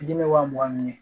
Fitinin wa mugan ni